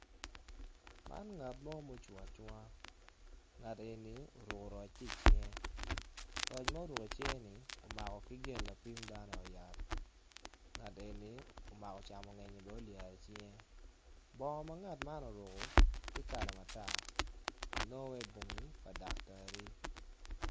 Man ngat mo ma ocung acunga ngat eni oruko roc ki i cinge roc ma ngat eni omako camo ngeny bene olyero i cinge bongo ma ngat man oruko tye kala ma tar nongo waci bongo pa ludaktari.